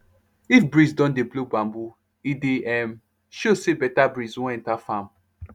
if breeze don dey blow bamboo e dey um show say better breeze wan enter farm